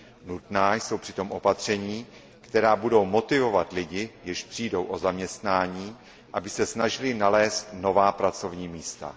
Nutná jsou přitom opatření, která budou motivovat lidi, jež přijdou o zaměstnání, aby se snažili nalézt nová pracovní místa.